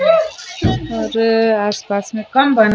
और आस-पास मे कम दाना--